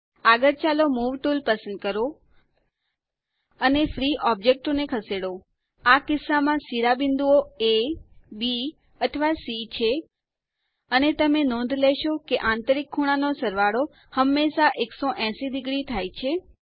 આગળ ચાલો move tool પસંદ કરો અને ફ્રી ઓબ્જેક્ટો ને ખસેડો આ કિસ્સામાં શિરોબિંદુઓ એ બી અથવા સી છે અને તમે નોંધ લેશો કે આંતરિક ખૂણા નો સરવાળો હંમેશા 180 ડિગ્રી થાય છે